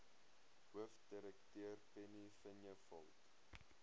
hoofdirekteur penny vinjevold